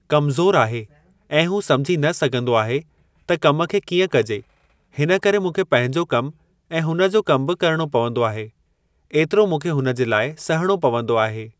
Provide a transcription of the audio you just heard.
कमज़ोर आहे ऐ हू सम्झी न सघंदो आहे त कमु खे कीअं कजे हिन करे मूंखे पंहिंजो कमु ऐं हुन जो कमु बि करणो पवंदो आहे। एतिरो मूंखे हुनजे लाइ सहणो पवंदो आहे।